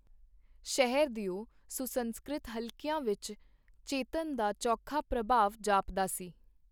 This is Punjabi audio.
ਸ਼ਹਿਰ ਦਿਓ ਸੁੰਸਸਕ੍ਰਿਤ ਹਲਕੀਆਂ ਵਿਚ ਚੇਤਨ ਦਾ ਚੋਖਾ ਪ੍ਰਭਾਵ ਜਾਪਦਾ ਸੀ.